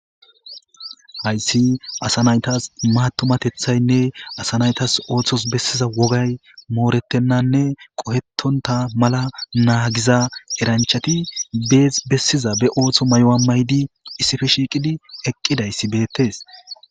Hayssi asa naytas matumatethaynne asa naytas ooththos bessiza wogay mooretennanne qohettonta mala naagiza eranchati e bessiza be ooththo may'o'a maydi issife shiiqidi eqqidayssi beettes